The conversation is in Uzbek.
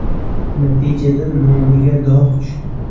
Natijada nomiga dog‘ tushdi.